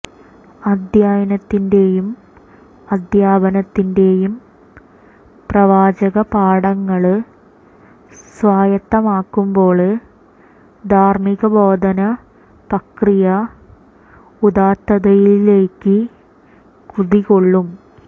അധ്യയനത്തിന്റെയും അധ്യാപനത്തിന്റെയും പ്രവാചക പാഠങ്ങള് സ്വായത്തമാകുമ്പോള് ധാര്മികബോധന പ്രക്രിയ ഉദാത്തതയിലേക്ക് കുതികൊള്ളും